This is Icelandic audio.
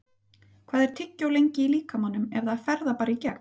Hvað er tyggjó lengi í líkamanum eða fer það bara í gegn?